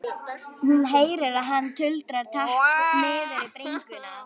Hún heyrir að hann tuldrar takk niður í bringuna.